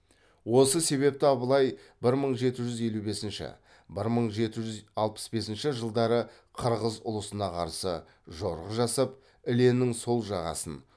осы себепті абылай бір мың жеті жүз елу бесінші бір мың жеті жүз алпыс бесінші жылдары қырғыз ұлысына қарсы жорық жасап іленің сол жағасын